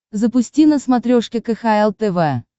запусти на смотрешке кхл тв